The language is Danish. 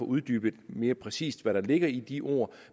uddybet mere præcist hvad der ligger i de ord